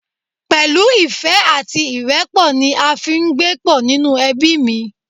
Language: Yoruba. Pẹ̀lú ìfẹ́ àti ìrẹ́pọ̀ ni a fi ń gbé pọ̀ nínú ẹbí mi